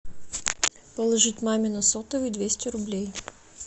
положить маме на сотовый двести рублей